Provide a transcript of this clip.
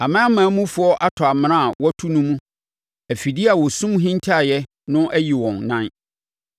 Aman amanmufoɔ atɔ amena a wɔatu no mu; afidie a wɔsum hintaaeɛ no ayi wɔn nan.